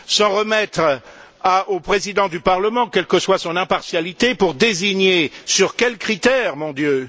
S'en remettre au Président du Parlement, quelle que soit son impartialité, pour désigner sur quels critères, mon Dieu!